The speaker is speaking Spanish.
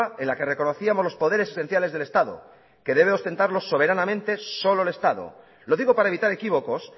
en la que reconocíamos los poderes esenciales del estado que debe ostentarlo soberanamente solo el estado lo digo para evitar equívocos